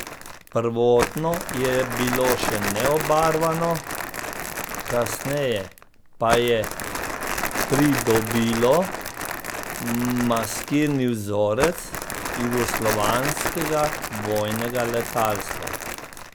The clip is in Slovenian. Prvotno je bilo še neobarvano, kasneje pa je pridobilo maskirni vzorec jugoslovanskega vojnega letalstva.